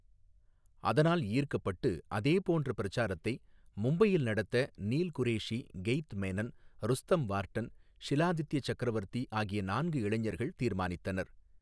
அதனால் ஈர்க்கப்பட்டு அதேபோன்ற பிரசாரத்தை மும்பையில் நடத்த Neil Qureshi Keith Menon Rustom Warden Shiladitya Chakravarti ஆகிய நான்கு இளைஞர்கள் தீர்மானித்தனர்.